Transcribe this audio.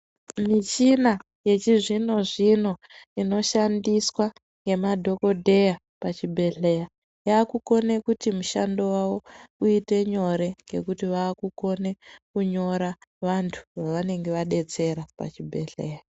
Michina yechizvino-zvino inoshandiswa ngemadhogodheya pachibhedhleya. Yakukone kuti mushando vavo uite nyore ngekuti vakukone kunyore vantu vavanenge vabetsera pachibhedhleya.